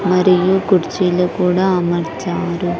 మరియు కుర్చీలు కూడా అమర్చారు.